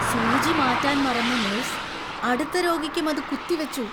സൂചി മാറ്റാൻ മറന്ന നഴ്സ് അടുത്ത രോഗിയ്‌ക്കും അത് കുത്തിവച്ചു.